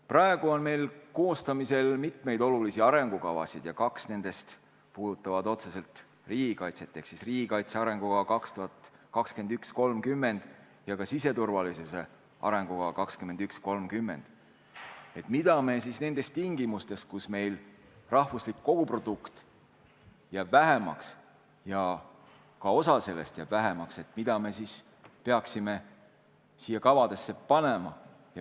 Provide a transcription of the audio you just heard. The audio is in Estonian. Praegu on meil koostamisel mitmeid olulisi arengukavasid ja kaks nendest puudutavad otseselt riigikaitset: need on riigikaitse arengukava 2021–2030 ja siseturvalisuse arengukava 2021–2030. Mida me siis tingimustes, kus meil majanduse koguprodukt jääb väiksemaks, peaksime nendesse kavadesse kirja panema?